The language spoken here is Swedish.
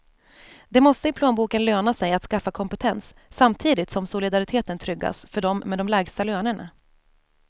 Det måste i plånboken löna sig att skaffa kompetens, samtidigt som solidariteten tryggas för dem med de lägsta lönerna.